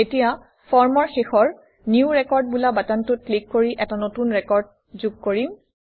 এতিয়া ফৰ্মৰ শেষৰ নিউ ৰেকৰ্ড বোলা বাটনটোত ক্লিক কৰি এটা নতুন ৰেকৰ্ড যোগ কৰিম